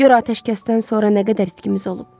Gör atəşkəsdən sonra nə qədər itkimiz olub.